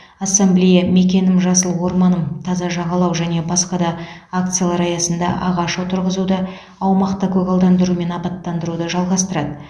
ассамблея мекенім жасыл орманым таза жағалау және басқа да акциялар аясында ағаш отырғызуды аумақты көгалдандыру мен абаттандыруды жалғастырады